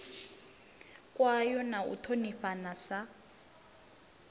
kwayo na u ṱhonifhana sa